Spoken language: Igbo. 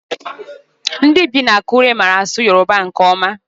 Ndị bi na Akure mara asụ Yoruba nke ọma.